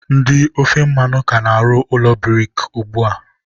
ndị ofe mmanụ ka na-arụ ụlọ buriki ugbua.